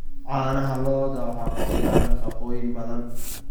Caanaha lo'da waxaa ku jira nafaqooyin badan.